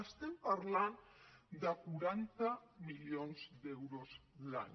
estem parlant de quaranta milions d’euros l’any